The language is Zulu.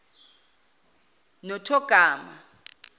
nothogama